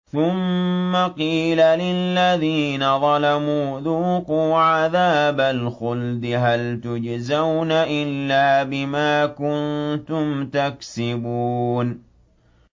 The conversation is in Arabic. ثُمَّ قِيلَ لِلَّذِينَ ظَلَمُوا ذُوقُوا عَذَابَ الْخُلْدِ هَلْ تُجْزَوْنَ إِلَّا بِمَا كُنتُمْ تَكْسِبُونَ